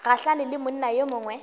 gahlane le monna yo mongwe